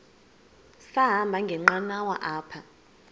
sahamba ngenqanawa apha